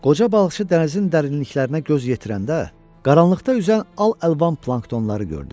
Qoca balıqçı dənizin dərinliklərinə göz yetirəndə, qaranlıqda üzən al-əlvan planktonları gördü.